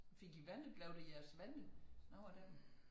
Fik i venner blev det jeres venner nogen af dem